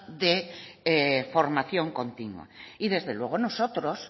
de formación continua y desde luego nosotros